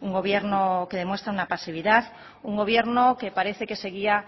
un gobierno que demuestra una pasividad un gobierno que parece que se guía